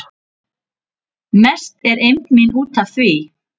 Mest er eymd mín út af því